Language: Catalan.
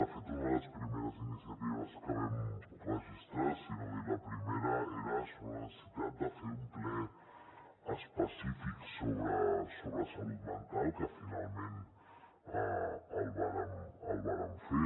de fet una de les primeres iniciatives que vam registrar si no era la primera era sobre la necessitat de fer un ple específic sobre salut mental que finalment el vàrem fer